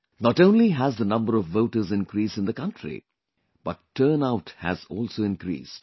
Not only has the number of voters increased in the country, but turnout has also increased